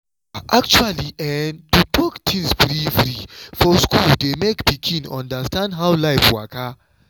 ahhh actually ehhn to talk things free-free for school dey make pikin understand how life waka.